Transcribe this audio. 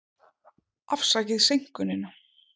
Afsakið seinkunina.